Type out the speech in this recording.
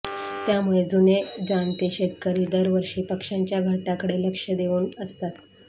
त्यामुळे जुने जाणते शेतकरी दरवर्षी पक्ष्यांच्या घरट्यांकडे लक्ष देऊन असतात